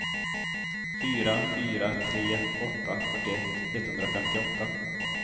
fyra fyra tre åtta fyrtioett etthundrafemtioåtta